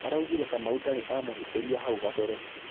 Araugĩre Kamau ndarĩ amũhĩtĩris hau gabere